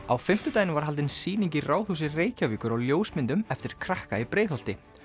á fimmtudaginn var haldin sýning í Ráðhúsi Reykjavíkur á ljósmyndum eftir krakka í Breiðholti